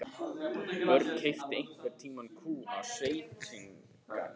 Björn keypti einhvern tíma kú af sveitunga sínum.